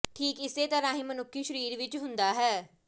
ਠੀਕ ਇਸੇ ਤਰ੍ਹਾਂ ਹੀ ਮਨੁੱਖੀ ਸਰੀਰ ਵਿੱਚ ਹੁੰਦਾ ਹੈ